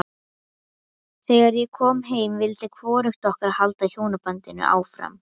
Þegar ég kom heim vildi hvorugt okkar halda hjónabandinu áfram.